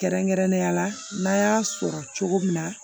Kɛrɛnkɛrɛnnenya la n'a y'a sɔrɔ cogo min na